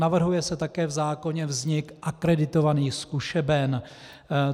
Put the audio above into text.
Navrhuje se také v zákoně vznik akreditovaných zkušeben.